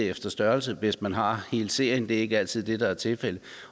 efter størrelse hvis man har hele serien det er ikke altid det der er tilfældet